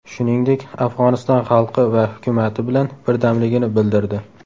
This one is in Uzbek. Shuningdek, Afg‘oniston xalqi va hukumati bilan birdamligini bildirdi.